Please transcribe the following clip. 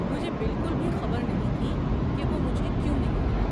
مجھے بالکل بھی خبر نہیں تھی کہ وہ مجھے کیوں نہیں ملا۔